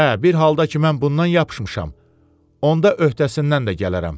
Hə, bir halda ki mən bundan yapışmışam, onda öhdəsindən də gələrəm.